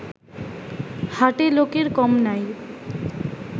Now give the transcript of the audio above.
হাটে লোকের কম নাই